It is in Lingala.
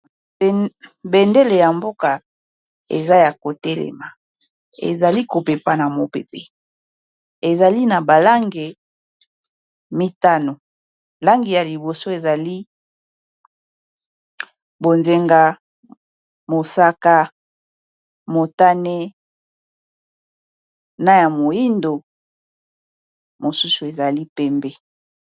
Bendele ya mboka eza ya ko telema ezali kopepa na mopepe ezali na ba lange mitano langi ya liboso ezali bonzenga, mosaka, motane, na ya moyindo mosusu ezali pembe.